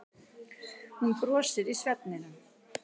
Hún brosir í svefninum.